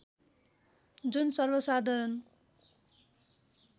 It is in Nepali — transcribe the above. जुन सर्वसाधारण